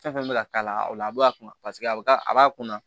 Fɛn fɛn bɛ ka k'a la o la a bɛ a kunna paseke a bɛ a b'a kunna